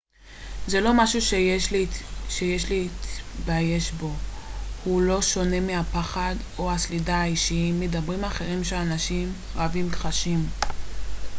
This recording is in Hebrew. זה לא משהו שיש להתבייש בו הוא לא שונה מהפחד או הסלידה האישיים מדברים אחרים שאנשים רבים חשים